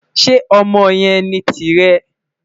Ṣe ọmọ yẹn ni tirẹ?